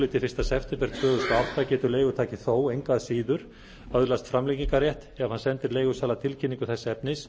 til fyrsta september tvö þúsund og átta getur leigutaki þó engu að síður öðlast framlengingarrétt ef hann sendir leigusala tilkynningu þess efnis